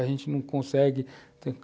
A gente não consegue.